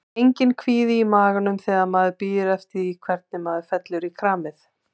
Enginn kvíði í maganum þegar maður bíður eftir því hvernig svona fellur í kramið?